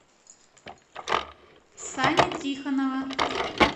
сани тихонова